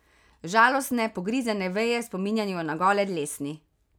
Žalostne pogrizene veje spominjajo na gole dlesni.